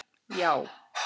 Já